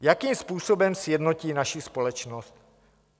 Jakým způsobem sjednotí naši společnost?